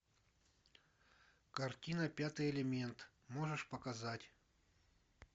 картина пятый элемент можешь показать